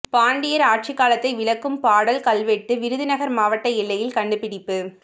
பாண்டியர் ஆட்சிகாலத்தை விளக்கும் பாடல் கல்வெட்டு விருதுநகர் மாவட்ட எல்லையில் கண்டுபிடிப்பு